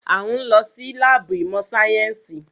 A ń lọ sí láàbù ìmọ̀ sáyẹ́nsì.